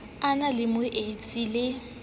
a na le moetsi le